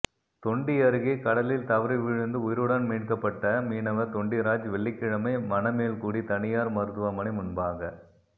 தொண்டி அருகே கடலில் தவறி விழுந்து உயிருடன் மீட்கபட்ட மீனவா் தொண்டிராஜ் வெள்ளிக்கிழமை மணமேல்குடி தனியாா் மருத்துவமனை முன்பாக